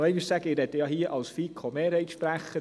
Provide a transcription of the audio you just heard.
Als Sprecher der FiKo-Mehrheit muss ich aber schon sagen: